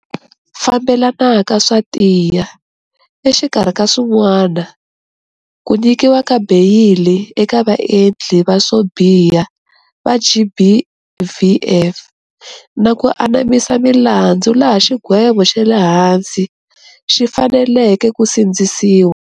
Fambelanaka swa tiya, exikarhi ka swin'wana, ku nyikiwa ka beyili eka vaendli va swo biha va GBVF, na ku anamisa milandzu laha xigwevo xale hansi xi faneleke ku sindzisiwa.